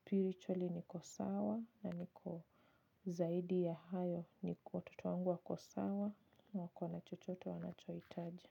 spiritually niko sawa na niko zaidi ya hayo ni kuwa watoto wangu wako sawa na wakona chochote wanachohitaji.